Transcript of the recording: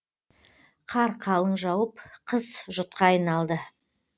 қар қалың жауып қыс жұтқа айналды